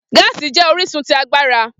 Gaasi jẹ orisun ti agbara.